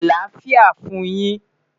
Alafia fun yin